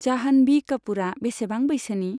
जाहन'भि कापुरआ बेसेबां बैसोनि?